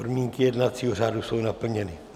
Podmínky jednacího řádu jsou naplněny.